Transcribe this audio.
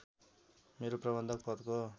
मेरो प्रबन्धक पदको